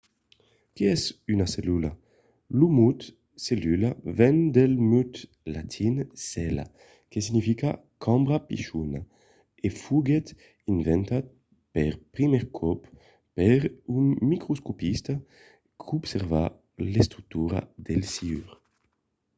qué es una cellula? lo mot cellula ven del mot latin cella que significa cambra pichona e foguèt inventat per primièr còp per un microscopista qu'observava l'estructura del siure